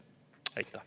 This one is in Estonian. Aitäh!